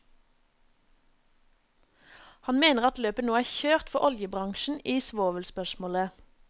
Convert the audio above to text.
Han mener at løpet nå er kjørt for oljebransjen i svovelspørsmålet.